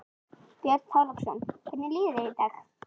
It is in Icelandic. Björn Þorláksson: Hvernig líður þér í dag?